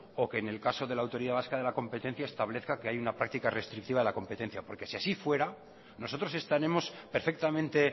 o que en el caso de la autoridad vasca de la competencia establezca que hay una práctica restrictiva de la competencia porque si así fuera nosotros estaremos perfectamente